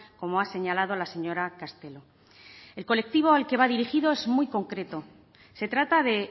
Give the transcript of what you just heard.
como ha señalado la señora castelo el colectivo al que va dirigido es muy concreto se trata de